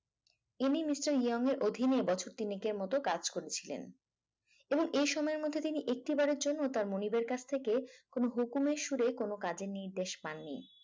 ইনি mister Young এর অধীনে বছর তিনেকের মত কাজ করেছিলেন এবং এই সময়ের মধ্যে তিনি একটি বারের জন্য তার মনিবের কাছ থেকে হুকুমের সুরে কোন কাজে নির্দেশ পাইনি